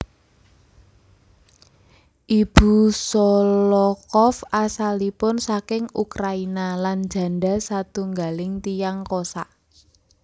Ibu Sholokhov asalipun saking Ukraina lan janda satunggaling tiyang Kossak